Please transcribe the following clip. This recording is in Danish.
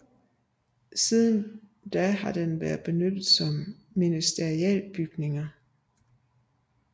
Siden da har den været benyttet som ministerialbygninger